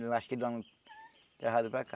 Eu acho que do ano errado para cá.